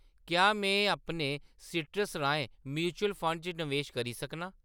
क्या में अपने सीट्रस राहें म्यूचुअल फंड च नवेश करी सकनां ?